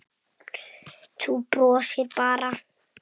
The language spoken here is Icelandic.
Þú brosir bara!